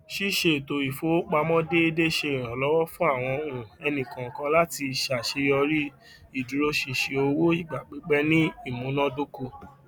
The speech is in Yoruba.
ṣíṣe ètò ìfowópamọ dẹédé ṣe ìrànlọwọ fún àwọn um ènìkọọkan láti ṣàṣeyọrí ìdúróṣinṣin owó ìgbà pípẹ ní ìmúnádókò